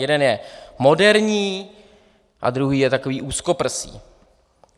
Jeden je moderní a druhý je takový úzkoprsý.